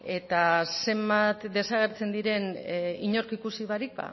eta zenbat desagertzen diren inork ikusi barik